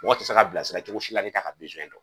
Mɔgɔ tɛ se ka bilasira cogo si la n'a t'a ka dɔn